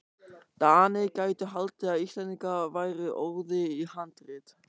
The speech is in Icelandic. DANIR gætu haldið að Íslendingar væru óðir í handrit.